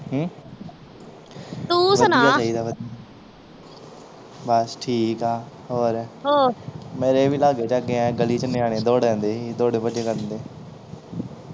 ਹਮ ਤੂੰ ਸੁਣਾ ਬਸ ਠੀਕ ਆ ਹੋਰ ਹੋਰ ਮੇਰੇ ਵੀ ਲਾਗੇ ਛਾਗੇ ਐਂ ਗਲੀ ਚ ਨਿਆਣੇ ਦੌੜਨ ਡਏ ਸੀ ਦੌੜੇ ਭੱਜੇ ਫਿਰਨ ਡਏ